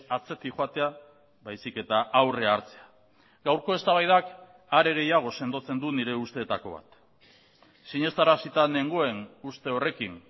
atzetik joatea baizik eta aurrea hartzea gaurko eztabaidak are gehiago sendotzen du nire usteetako bat sinestarazita nengoen uste horrekin